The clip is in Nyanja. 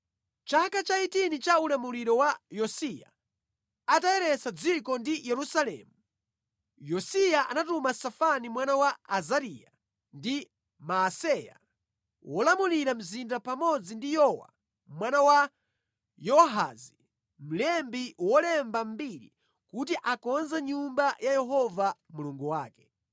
Mʼchaka cha 18 cha ulamuliro wa Yosiya, atayeretsa dziko ndi Yerusalemu, Yosiya anatuma Safani mwana wa Azariya ndi Maaseya, wolamulira mzinda pamodzi ndi Yowa mwana wa Yowahazi mlembi wolemba mbiri, kuti akonze Nyumba ya Yehova Mulungu wake.